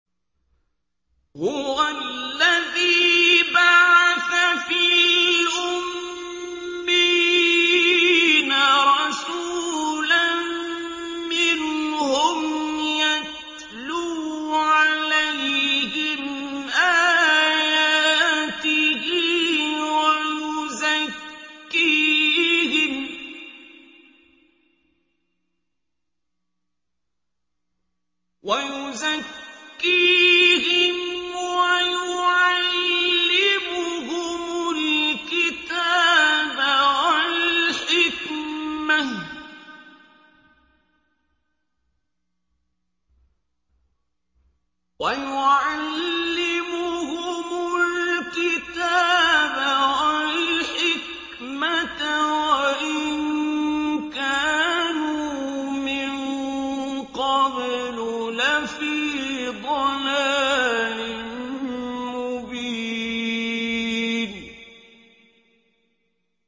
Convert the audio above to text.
هُوَ الَّذِي بَعَثَ فِي الْأُمِّيِّينَ رَسُولًا مِّنْهُمْ يَتْلُو عَلَيْهِمْ آيَاتِهِ وَيُزَكِّيهِمْ وَيُعَلِّمُهُمُ الْكِتَابَ وَالْحِكْمَةَ وَإِن كَانُوا مِن قَبْلُ لَفِي ضَلَالٍ مُّبِينٍ